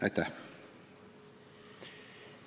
Aitäh!